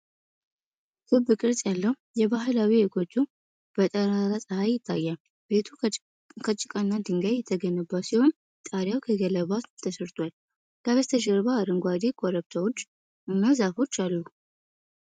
ክብ ቅርጽ ያለው የባህላዊ ጎጆ በጠራራ ፀሐይ ይታያል። ቤቱ ከጭቃና ድንጋይ የተገነባ ሲሆን፣ ጣሪያው ከገለባ ተሠርቷል። ከበስተጀርባ አረንጓዴ ኮረብቶች እና ዛፎች አሉ።